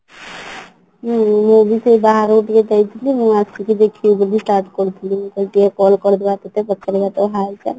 ହୁଁ ମୁଁ ବି ସେ ବାହାରକୁ ଟିକେ ଯାଇଥିଲି ମୁଁ ଆସିକି ଦେଖିବି ବୋଲି start କରିଥିଲି ଭାବିଲି ଟିକେ call କରିଦେବା